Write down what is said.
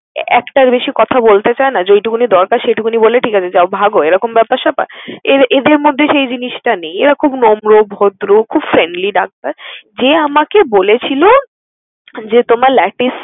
একটার বেশি কথা বলতে চায় না, যেটুকুনই দরকার সেইটুকুনই বলে যাও ঠিক আছে ভাগো। এরকম ব্যাপার স্যাপার, এ~এদের মধ্যে সেই জিনিসটা নেই। এরা খুব নম্র, ভদ্র খুব friendly ডাক্তার। যে আমাকে বলেছিল যে তোমার latis